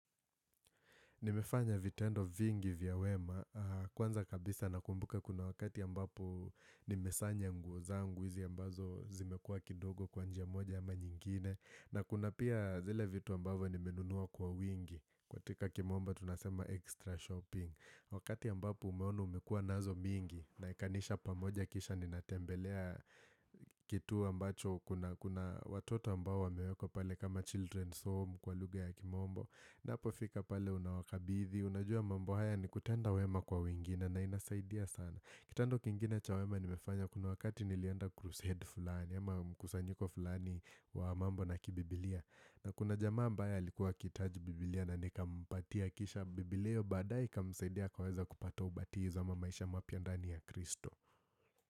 Nimefanya vitendo vingi vya wema. Kwanza kabisa nakumbuka kuna wakati ambapo nimesanya nguo zangu hizi ambazo zimekua kidogo kwa njia moja ama nyingine. Na kuna pia zile vitu ambavyo nimenunua kwa wingi. Katika kimombo tunasema extra shopping. Wakati ambapo umeona umekua nazo mingi unaekanisha pamoja kisha ninatembelea kitu ambacho kuna watoto ambao wamewekwa pale kama children's home kwa lugha ya kimombo. Ninapofika pale unawakabithi, unajua mambo haya ni kutenda wema kwa wengine na inasaidia sana Kitendo kingine cha wema nimefanya kuna wakati nilienda crusade fulani ama mkusanyiko fulani wa mambo na kibibilia na kuna jamaa ambaye alikuwa akihitaji biblia na nikampatia kisha biblia Badae ikamsaidia akaweza kupata ubatizo ama maisha mapya ndani ya kristo.